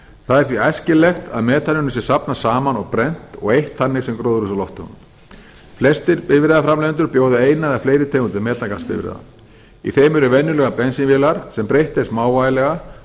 það er því æskilegt að metaninu sé safnað saman og brennt og eytt þannig sem gróðurhúsalofttegund flestir bifreiðaframleiðendur bjóða eina eða fleiri tegundir metangasbifreiða í þeim eru venjulegar bensínvélar sem breytt er smávægilega